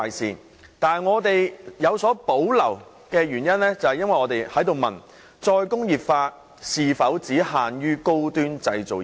然而，我們有所保留的原因，在於我們質疑"再工業化"是否應只限於高端製造業。